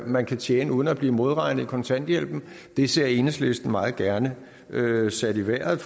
man kan tjene uden at blive modregnet i kontanthjælpen og det så enhedslisten meget gerne blev sat i vejret